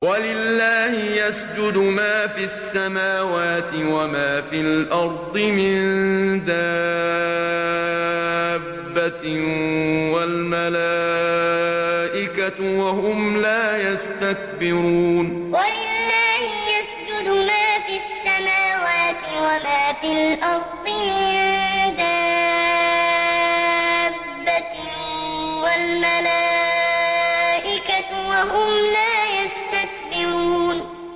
وَلِلَّهِ يَسْجُدُ مَا فِي السَّمَاوَاتِ وَمَا فِي الْأَرْضِ مِن دَابَّةٍ وَالْمَلَائِكَةُ وَهُمْ لَا يَسْتَكْبِرُونَ وَلِلَّهِ يَسْجُدُ مَا فِي السَّمَاوَاتِ وَمَا فِي الْأَرْضِ مِن دَابَّةٍ وَالْمَلَائِكَةُ وَهُمْ لَا يَسْتَكْبِرُونَ